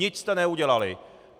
Nic jste neudělali!